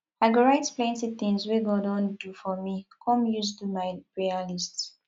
i go write plenty things we god don do for me come use do my prayer list